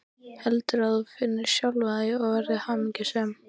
Heldur að þú finnir sjálfan þig og verðir hamingjusöm.